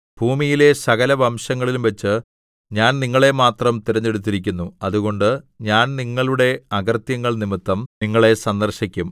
ഭൂമിയിലെ സകലവംശങ്ങളിലുംവച്ച് ഞാൻ നിങ്ങളെ മാത്രം തിരഞ്ഞെടുത്തിരിക്കുന്നു അതുകൊണ്ട് ഞാൻ നിങ്ങളുടെ അകൃത്യങ്ങൾനിമിത്തം നിങ്ങളെ സന്ദർശിക്കും